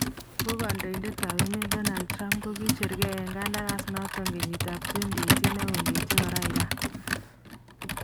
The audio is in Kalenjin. Ako kandoindetab emeet Donald Trump kokicheer kee en kandaras noton kenyitab 2018 ak kondechi koraa Iran